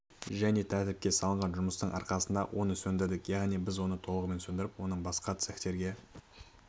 және тәртіпке салынған жұмыстың арқасында оны сөндірдік яғни біз оны толығымен сөндіріп оның басқа цехтерге